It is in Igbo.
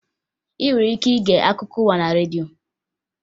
Ị nwere ike ige akụkọ ụwa na redio